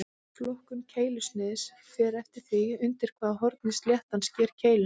Flokkun keilusniðs fer eftir því undir hvaða horni sléttan sker keiluna.